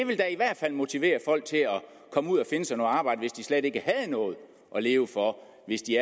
vil da i hvert fald motivere folk til at komme ud og finde sig noget arbejde hvis de slet ikke havde noget at leve for hvis de